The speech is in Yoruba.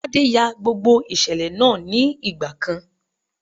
Tádé ya gbogbo ìṣẹ̀lẹ̀ náà ní ìgbà kan.